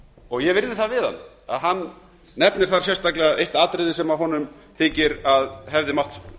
og ég virði það við hann að hann nefnir þar eitt atriði sem honum finnst að hefði mátt